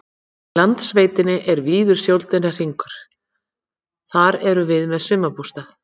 Í Landsveitinni er víður sjóndeildarhringur, þar erum við með sumarbústað.